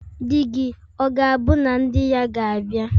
Di-gi, ọ̀ gābu na ndi-ya gābia?